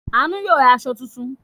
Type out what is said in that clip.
Àánú yóò ra aṣọ tuntun.